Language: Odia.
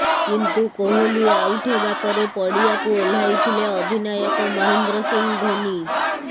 କିନ୍ତୁ କୋହଲି ଆଉଟ ହେବା ପରେ ପଡିଆକୁ ଓହ୍ଲାଇଥିଲେ ଅଧିନାୟକ ମହେନ୍ଦ୍ର ସିଂ ଧୋନି